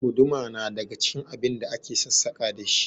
Guduma na daga cikin abin da ake aikin sassaƙa dashi